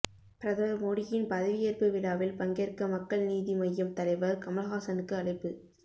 பிரதமர் மோடியின் பதவியேற்பு விழாவில் பங்கேற்க மக்கள் நீதி மய்யம் தலைவர் கமல்ஹாசனுக்கு அழைப்பு